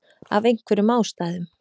Af einhverjum ástæðum.